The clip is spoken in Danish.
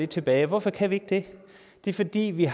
tilbage hvorfor kan vi ikke det det er fordi vi